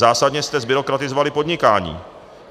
Zásadně jste zbyrokratizovali podnikání.